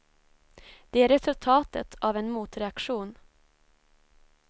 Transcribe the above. Det är resultatet av en motreaktion.